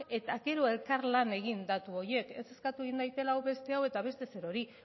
eta gero elkarlan egin datu horiek ez eskatu egin dadila hau beste hau eta beste zer hori